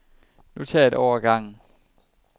Nu tager jeg et år ad gangen.